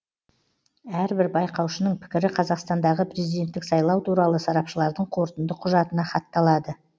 әрбір байқаушының пікірі қазақстандағы президенттік сайлау туралы сарапшылардың қорытынды құжатына хатталады